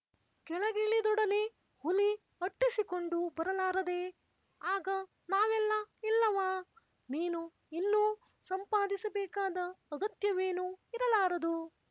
ಕೆಳಗಿಳಿದೊಡನೆ ಹುಲಿ ಅಟ್ಟಿಸಿಕೊಂಡು ಬರಲಾರದೇಆಗ ನಾವೆಲ್ಲ ಇಲ್ಲವಾ ನೀನು ಇನ್ನೂ ಸಂಪಾದಿಸಬೇಕಾದ ಅಗತ್ಯವೇನೂ ಇರಲಾರದು